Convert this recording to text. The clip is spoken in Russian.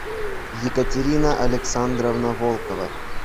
екатерина александровна волкова